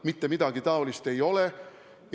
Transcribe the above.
Mitte midagi niisugust ei ole!